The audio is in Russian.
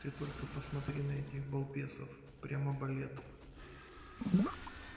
ты только посмотри на этих балбесов прямо балет